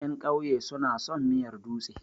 Ƴan ƙauye su na son miyar dutse.